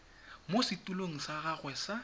mo setulong sa gagwe sa